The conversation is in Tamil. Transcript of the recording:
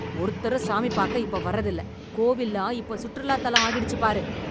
ஒருத்தரும் சாமி பாக்க இப்ப வர்றதில்லை. கோவில்லாம் இப்ப சுற்றுலாத் தலம் ஆகிடுச்சு பாரு!